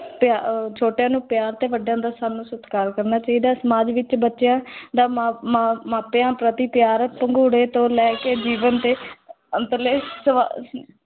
ਪਿਆ ਅਹ ਛੋਟਿਆਂ ਨੂੰ ਪਿਆਰ ਤੇ ਵੱਡਿਆਂ ਦਾ ਸਾਨੂੰ ਸਤਿਕਾਰ ਕਰਨਾ ਚਾਹੀਦਾ ਹੈ, ਸਮਾਜ ਵਿੱਚ ਬੱਚਿਆਂ ਦਾ ਮਾ ਮਾ ਮਾਪਿਆਂ ਪ੍ਰਤੀ ਪਿਆਰ ਪੰਘੂੜੇ ਤੋਂ ਲੈ ਕੇ ਜੀਵਨ ਦੇ ਅੰਤਲੇ